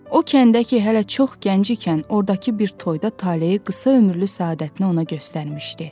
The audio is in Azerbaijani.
O kəndə ki hələ çox gənc ikən ordakı bir toyda taleyi qısa ömürlü sadətini ona göstərmişdi.